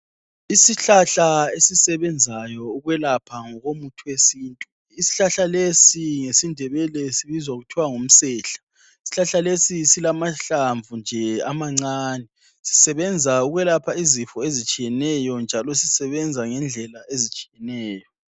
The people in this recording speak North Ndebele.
Isihlahla esisebenzayo ukwelapha ngokomuthi wesintu, isihlahla lesi ngesiNdebele sibizwa kuthiwa ngumsehla. Isihlahla lesi silamahlamvu nje amancane, sisebenza ukwelapha izifo ezitshiyeneyo njalo sisebenza ngendlela ezitshiyeneyo.